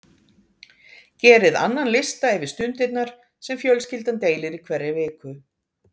Gerið annan lista yfir stundirnar sem fjölskyldan deilir í hverri viku.